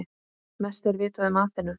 Mest er vitað um Aþenu.